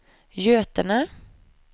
Götene